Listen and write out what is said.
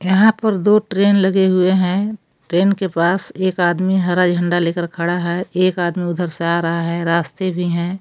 यहां पर दो ट्रेन लगे हुए हैं ट्रेन के पास एक आदमी हरा झंडा लेकर खड़ा है एक आदमी उधर से आ रहा है रास्ते भी है।